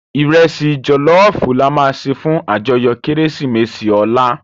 Irèsi jòlòfú làmá sé fún àjòyò Kérésimési òlá